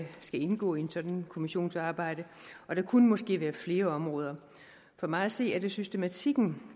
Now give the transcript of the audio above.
skal indgå i et sådant kommissionsarbejde og der kunne måske være flere områder for mig at se er det systematik at man